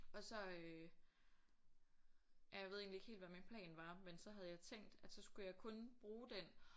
Og så øh ja jeg ved egentlig ikke helt hvad min plan var men så havde jeg tænkt at så skulle jeg kun bruge den